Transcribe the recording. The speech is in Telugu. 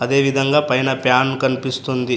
అదేవిధంగా పైన ప్యాన్ కనిపిస్తుంది.